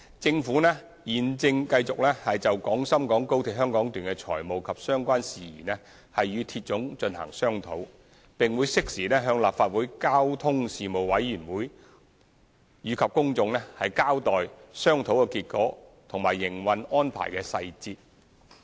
政府現正繼續就廣深港高鐵香港段的財務及相關事宜與鐵總進行商討，並會適時向立法會交通事務委員會及公眾交代商討結果和營運安排的細節。